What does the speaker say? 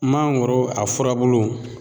Mangoro a furabulu